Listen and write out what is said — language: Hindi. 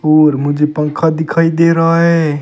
और मुझे पंखा दिखाई दे रहा है।